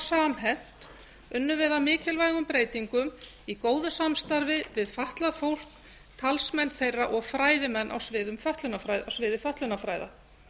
samhent unnum við að mikilvægum breytingum í góðu samstarfi við fatlað fólk talsmenn þeirra og fræðimenn á sviði fötlunarfræða